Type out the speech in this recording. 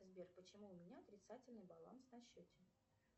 сбер почему у меня отрицательный баланс на счете